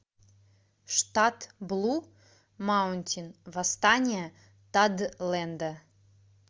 штат блу маунтин восстание тадлэнда